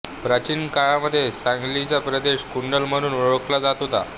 प्राचीन काळामध्ये सांगलीचा प्रदेश कुंडल म्हणून ओळखला जात होता